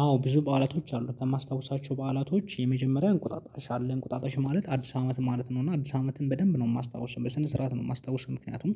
አዎ ብዙ በዓላቶች አሉ። ከማስታውሳቸው በዓላቶች የመጀመሪያ እንቁጣጣሽ አለ። እንቁጣጣሽ ማለት? አዲስ አመት ማለት ነው። እና አዲስ አመትን በደንብ ነው የማስታውሰው። በስነ ስርዓት ነው የማስታውሰው። ምክንያቱም